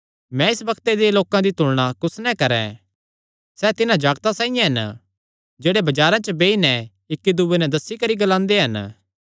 मैं इस बग्ते दे लोकां दी तुलणा कुस नैं करैं सैह़ तिन्हां जागतां साइआं हन जेह्ड़े बजारां च बेई नैं इक्की दूये नैं दस्सी करी ग्लांदे हन